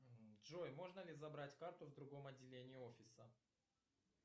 джой можно ли забрать карту в другом отделении офиса